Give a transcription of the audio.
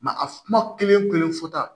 a kuma kelen kelen fɔ tan